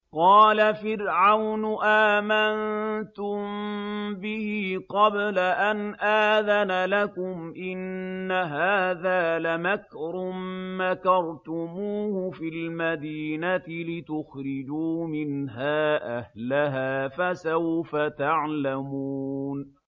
قَالَ فِرْعَوْنُ آمَنتُم بِهِ قَبْلَ أَنْ آذَنَ لَكُمْ ۖ إِنَّ هَٰذَا لَمَكْرٌ مَّكَرْتُمُوهُ فِي الْمَدِينَةِ لِتُخْرِجُوا مِنْهَا أَهْلَهَا ۖ فَسَوْفَ تَعْلَمُونَ